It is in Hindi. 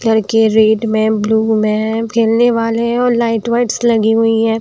घर के रेड में ब्लू में खेलने वाले हैं और लाइट्स -वाइट्स लगी हुई है।